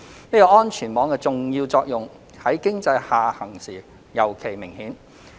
這個安全網的重要作用在經濟下行時尤其明顯。